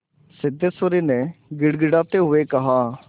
सिद्धेश्वरी ने गिड़गिड़ाते हुए कहा